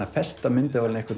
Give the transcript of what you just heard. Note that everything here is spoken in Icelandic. að festa myndavélina